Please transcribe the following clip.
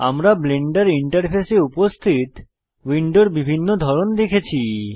আমরা ব্লেন্ডার ইন্টারফেসে উপস্থিত উইন্ডোর বিভিন্ন ধরন দেখেছি